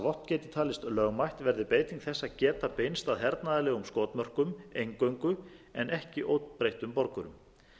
vopn geti talist lögmætt verði beiting þess að geta beinst að hernaðarlegum skotmörkum eingöngu en ekki óbreyttum borgurum